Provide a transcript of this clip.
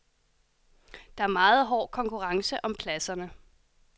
Der er meget hård konkurrence om pladserne.